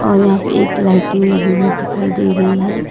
और यहां पे एक लाइटिंग लगी हुई दिखाई दे रही है।